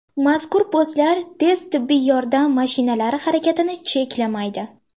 Mazkur postlar tez tibbiy yordam mashinalari harakatini cheklamaydi.